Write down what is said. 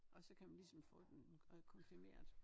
Og så kan man ligesom få den øh konfirmeret